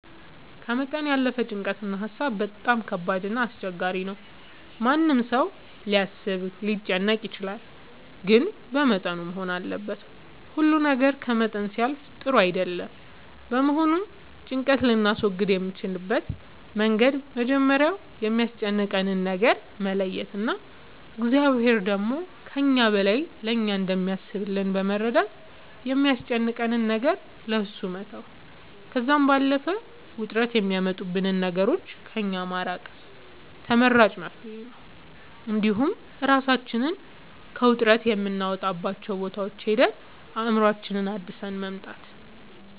ከመጠን ያለፈ ጭንቀት እና ሀሳብ በጣም ከባድ እና አስቸጋሪ ነው ማንም ሰው ሊያስብ ሊጨነቅ ይችላል ግን በመጠኑ መሆን አለበት ሁሉ ነገር ከመጠን ሲያልፍ ጥሩ አይደለም በመሆኑም ጭንቀት ልናስወግድ የምንችልበት መንገድ መጀመሪያ የሚያስጨንቀንን ነገር መለየት እና እግዚአብሔር ደግሞ ከእኛ በላይ ለእኛ እንደሚያስብልን በመረዳት የሚያስጨንቀንን ነገር ለእሱ መተው ከዛም ባለፈ ውጥረት የሚያመጡብንን ነገሮች ከእኛ ማራቅ ተመራጭ መፍትሄ ነው እንዲሁም እራሳችንን ከውጥረት የምናወጣባቸው ቦታዎች ሄደን አእምሮአችንን አድሰን መምጣት